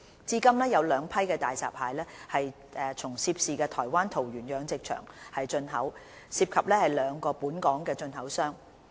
至今有兩批大閘蟹從涉事台灣桃園養殖場進口，涉及兩個本港進口商。